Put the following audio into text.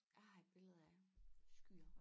Jeg har et billede af skyer